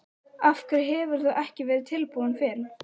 Af hverju hefur þú ekki verið tilbúin fyrr?